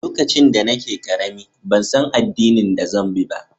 Lokacin da nake karemi, ban san addinin da zan bi ba.